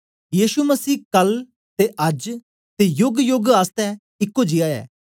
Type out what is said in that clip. यीशु मसीह कल ते अज्ज ते योगयोग आसतै इको जियां ऐ